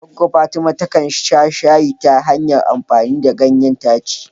Goggo Fatima takan sha shayi ta hanyar amfani ganyen daci.